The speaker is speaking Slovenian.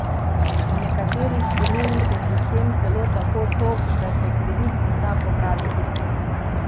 V nekaterih primerih je sistem celo tako tog, da se krivic ne da popraviti.